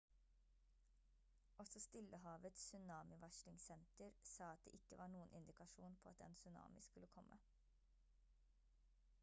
også stillehavets tsunamivarslingsenter sa at det ikke var noen indikasjon på at en tsunami skulle komme